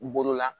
Bolo la